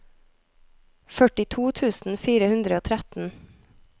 førtito tusen fire hundre og tretten